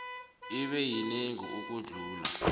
ibe yinengi ukudlula